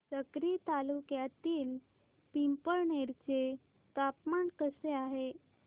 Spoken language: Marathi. साक्री तालुक्यातील पिंपळनेर चे तापमान कसे आहे